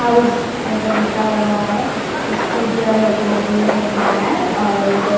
house ऐसा लिखा हुआ है स्कूटियां लगी हुई है भार और एक औ--